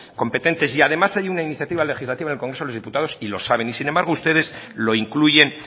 competentes y además hay una iniciativa legislativa en el congreso de los diputados y lo saben y sin embargo ustedes lo incluyen